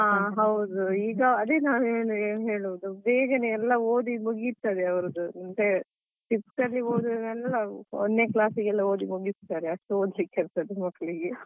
ಹಾ ಹೌದು ಈಗ ಅದೇ ನಾನು ಹೇಳಿದ್ದು ಏನು ಹೇಳುದು ಬೇಗನೆ ಎಲ್ಲ ಓದಿ ಮುಗಿತದೆ ಅವ್ರದ್ದು Fifth ಅಲ್ಲಿ ಓದುದೆಲ್ಲ ಒಂದನೇ class ಗೆಲ್ಲ ಓದಿ ಮುಗಿಸ್ತಾರೆ ಅಷ್ಟು ಓದ್ಲಿಕ್ಕೆ ಇರ್ತದೆ ಮಕ್ಕಳಿಗೆ.